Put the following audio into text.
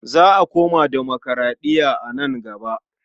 Za a koma demokuraɗiya a nan gaba.